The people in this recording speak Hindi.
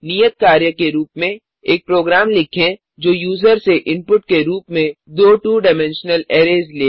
नियत कार्य के रूप में एक प्रोग्राम लिखें जो यूजर से इनपुट के रूप में दो 2डाइमेंशनल अरैज़ ले